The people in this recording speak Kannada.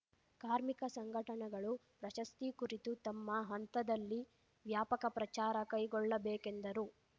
ಕಾರ್ಮಿಕ ಸಂಘಟನೆಗಳು ಪ್ರಶಸ್ತಿ ಕುರಿತು ತಮ್ಮ ಹಂತದಲ್ಲಿ ವ್ಯಾಪಕ ಪ್ರಚಾರ ಕೈಗೊಳ್ಳಬೇಕೆಂದರು